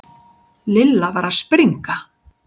Lilla var að springa.